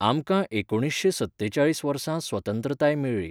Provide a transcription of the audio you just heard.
आमकां एकुणीसशेंसत्तेचाळीस वर्सा स्वतंत्रताय मेळ्ळी